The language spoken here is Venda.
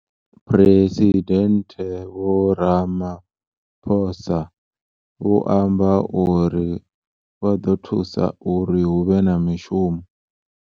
Phresidennde Vho Ramaphosa vho amba uri.